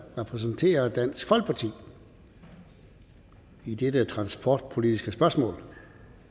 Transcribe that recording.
repræsenterer dansk folkeparti i dette transportpolitiske spørgsmål